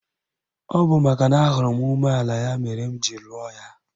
Ọ bụ makana ahụrụ m umeala ya mere m ji lụọ ya.